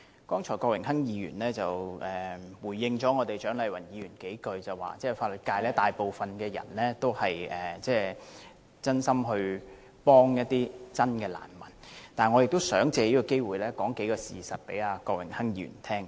郭榮鏗議員剛才約略回應了蔣麗芸議員，說大部分法律界人士都是真心協助真正的難民，但我也想藉此機會，告訴郭榮鏗議員一些事實。